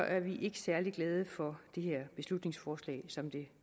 er vi ikke særlig glade for det her beslutningsforslag som det